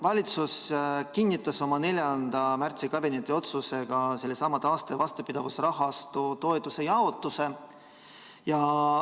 Valitsus kinnitas oma 4. märtsi kabinetiotsusega taaste‑ ja vastupidavusrahastu toetuse jaotuse.